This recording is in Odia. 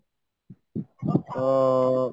ତ